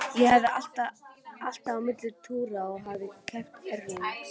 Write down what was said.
Ég æfði alltaf á milli túra og hafði keppt erlendis.